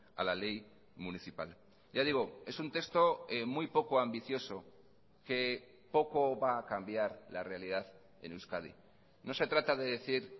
a la ley municipal ya digo es un texto muy poco ambicioso que poco va a cambiar la realidad en euskadi no se trata de decir